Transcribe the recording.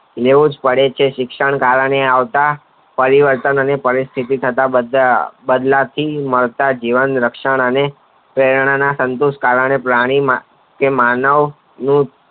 લેવું જ પડે છે શિક્ષણ કારણે આવતા પરિવર્તન અને પરિસ્થિ થતા બધા બદલાતી જીવન રક્ષણ અને પ્રેણના ને કારણે પ્રાણી માં કે માનવ માં